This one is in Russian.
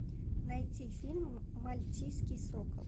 найти фильм мальтийский сокол